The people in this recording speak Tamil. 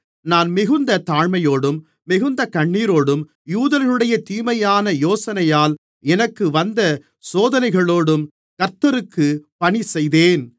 நான் மிகுந்த தாழ்மையோடும் மிகுந்த கண்ணீரோடும் யூதர்களுடைய தீமையான யோசனையால் எனக்கு வந்த சோதனைகளோடும் கர்த்தருக்குப் பணி செய்தேன்